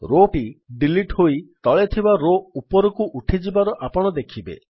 Rowଟି delete ହୋଇ ତଳେ ଥିବା ରୋ ଉପରକୁ ଉଠିଯିବାର ଆପଣ ଦେଖିବେ